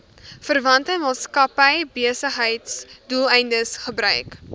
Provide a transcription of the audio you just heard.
verwante maatskappybesigheidsdoeleindes gebruik